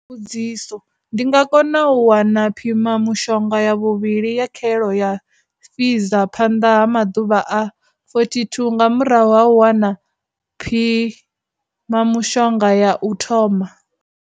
Mbudziso, ndi nga kona u wana phimamushonga ya vhuvhili ya khaelo ya Pfizer phanḓa ha maḓuvha a 42 nga murahu ha u wana phi mamushonga ya u thoma.